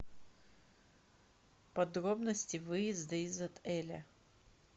подробности выезда из отеля